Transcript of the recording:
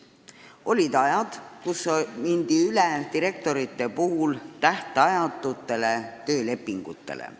Olid ajad, kui mindi üle direktorite tähtajatutele töölepingutele.